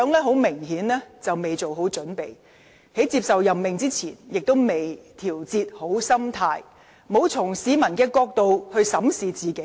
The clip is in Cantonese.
她明顯未做好準備，在接受任命之前亦未調節好心態，沒有從市民的角度審視自己。